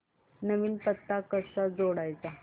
नवीन पत्ता कसा जोडायचा